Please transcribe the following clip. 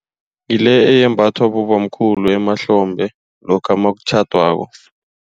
Ngile eyembathwa bobamkhulu emahlombe lokha nakutjhadwako.